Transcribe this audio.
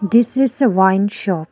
This is a wine shop.